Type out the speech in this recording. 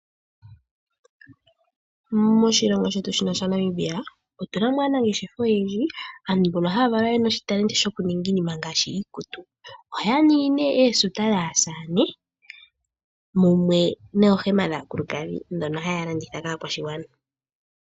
Moshilongo shetu shino shaNamibia otuna aanangeshefa oyendji. Aantu mbono haya valwa ye na oshitalenti shokuninga iinima ngaashi iikutu ohaya ningi nee ooshuta dhaasamane mumwe noohema dhaakulukadhi ndhono haya landitha kakaakwashigwana.